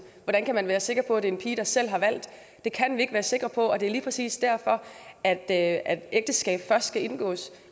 hvordan kan man være sikker på at det er en pige der selv har valgt det kan vi ikke være sikre på og det er lige præcis derfor at at ægteskab først skal kunne indgås